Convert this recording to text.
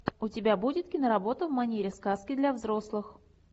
у тебя будет киноработа в манере сказки для взрослых